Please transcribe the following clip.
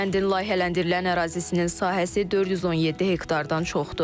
Kəndin layihələndirilən ərazisinin sahəsi 417 hektardan çoxdur.